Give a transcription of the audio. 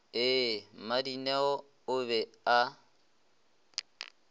ee mmadineo o be a